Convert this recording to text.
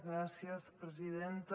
gràcies presidenta